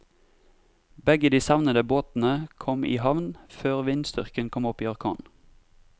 Begge de savnede båtene kom i havn før vindstyrken kom opp i orkan.